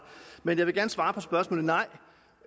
men jeg vil gerne svare på spørgsmålet nej